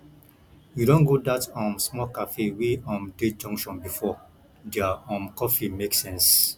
you don go dat um small cafe wey um dey junction before their um coffee make sense